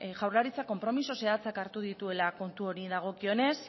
jaurlaritza konpromiso zehatzak hartu dituela kontu honi dagokionez